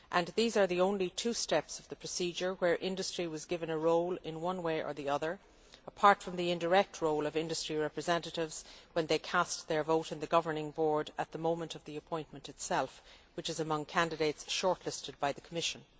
These are the only two steps of the procedure where industry was given a role in one way or the other, apart from the indirect role of industry representatives when they cast their vote in the governing board at the moment of the appointment itself, which is among candidates shortlisted by the Commission.